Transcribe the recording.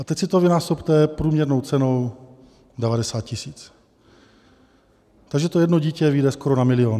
A teď si to vynásobte průměrnou cenou 90 000, takže to jedno dítě vyjde skoro na milion.